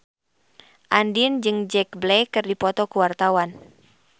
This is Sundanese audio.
Andien jeung Jack Black keur dipoto ku wartawan